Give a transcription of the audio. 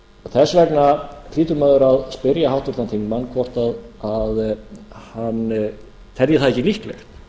þess vegna hlýtur maður að spyrja háttvirtan þingmann hvort að hann telji það ekki líklegt